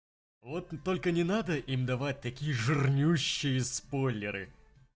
вот только не надо им давать такие жирнющие сполеры